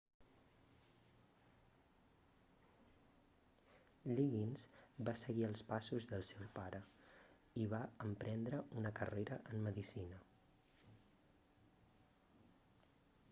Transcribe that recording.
liggins va seguir els passos del seu pare i va emprendre una carrera en medicina